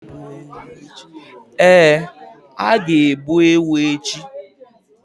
Ee, a ga-egbu ewu echi.